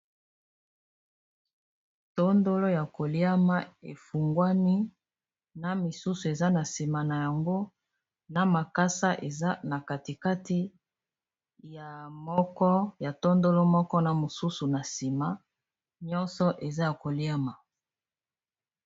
tondolo ya koliama efungwani na misusu eza na nsima na yango na makasa eza na katikati ya tondolo moko na mosusu na nsima nyonso eza ya koliama